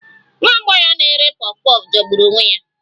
Nwa agbọghọ na-ere puff puff jọgburu onwe ya